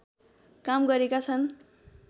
काम गरेका छन्